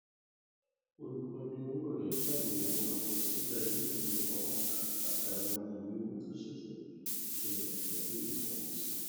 olùkóni owó rẹ ṣàyẹwò àkọsílẹ iléifowopamọ àti àwọn ìwé owó tó ṣẹṣẹ ṣẹlẹ pẹlú ìfọkànsìn